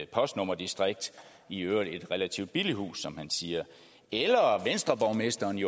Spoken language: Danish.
postnummerdistrikt i øvrigt et relativt billigt hus som han siger eller venstreborgmesteren i